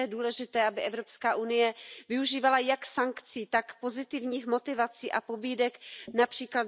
Proto je důležité, aby EU využívala jak sankcí, tak pozitivních motivací a pobídek, např.